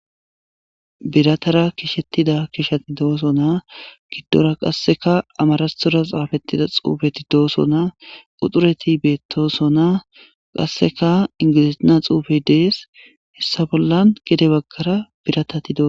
Biratara kishettida kishati dooso naa giddora qasseka amarastora xaafettida xuufeti dooso naa uxureti beettoso naa qasseka ingilisiina xuufe dees hessa bollan gede baggara biratati doos.